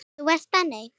Þú varst þannig.